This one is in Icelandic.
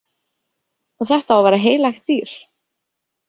Og þetta á að vera heilagt dýr.